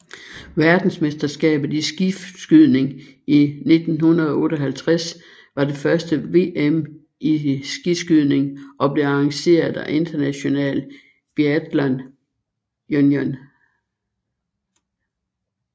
Verdensmesterskabet i skiskydning 1958 var det første VM i skiskydning og blev arrangeret af International Biathlon Union